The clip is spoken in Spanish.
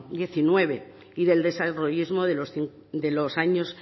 diecinueve y del desarrollismo de los años